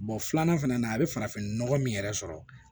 filanan fɛnɛ na a bɛ farafinnɔgɔ min yɛrɛ sɔrɔ